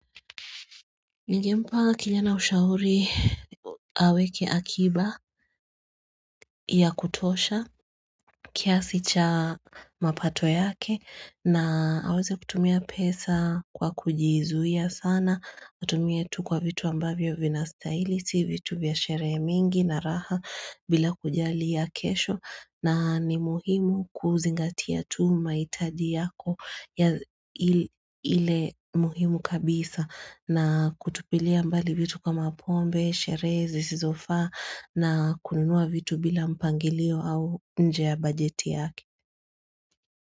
Njimpa kijana ushauri aweke akiba ya kutosha kiasi cha mapato yake na aweze kutumia pesa kwa kujizuia sana atumia tu kwa vitu ambavyo vina stylisi vitu vya shere mingi na raha bila kujali ya kesho na ni muhimu kuzingatia tu mahitaji yako ya ile muhimu kabisa na kutupilia mbali vitu kama pombe, sherehe zisizofa na kununua vitu bila mpangilio au nje ya bajeti yaki.